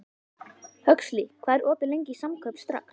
Huxley, hvað er opið lengi í Samkaup Strax?